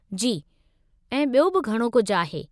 जी, ऐं बि॒यो बि घणो कुझु आहे।